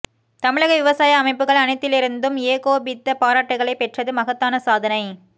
தமிழக விவசாய அமைப்புகள் அனைத்திலிருந்தும் ஏகோபித்த பாராட்டுகளை பெற்றது மகத்தான சாதனை